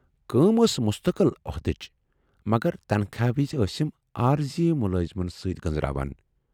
کٲم ٲس مستقل عہدٕچ مگر تنخواہ وِزِ ٲسِم عٲرضی مُلٲزِمن سۭتۍ گٔنزراوان۔